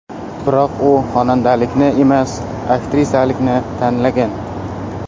Biroq u xonandalikni emas, aktrisalikni tanlagan.